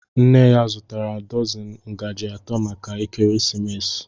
Nne ya zụtara dọzini ngaji atọ maka ekeresimesi.